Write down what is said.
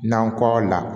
Nankɔ la